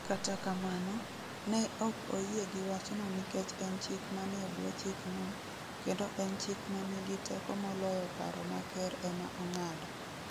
Kata kamano, ne ok oyie gi wachno nikech en chik manie bwo chikno, kendo en chik ma nigi teko moloyo paro ma ker ema ong'ado.